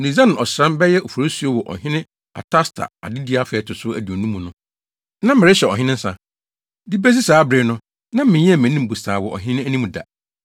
Nisan ɔsram (bɛyɛ Oforisuo) wɔ Ɔhene Artasasta adedi afe a ɛto so aduonu mu no, na merehyɛ ɔhene nsa. De besi saa bere no, na menyɛɛ mʼanim bosaa wɔ ɔhene anim da,